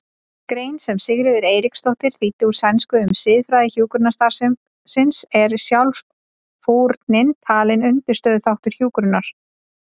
grein sem Sigríður Eiríksdóttir þýddi úr sænsku um siðfræði hjúkrunarstarfsins er sjálfsfórnin talin undirstöðuþáttur hjúkrunar.